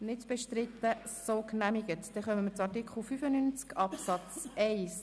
Wir kommen zu Artikel 95 Absatz 1.